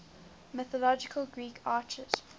mythological greek archers